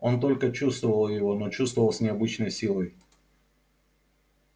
он только чувствовал его но чувствовал с необычной силой